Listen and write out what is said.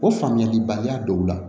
O faamuyalibaliya dɔw la